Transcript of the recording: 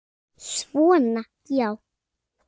Svona já.